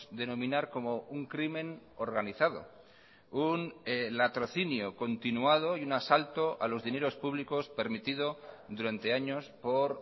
denominar como un crimen organizado un latrocinio continuado y un asalto a los dineros públicos permitido durante años por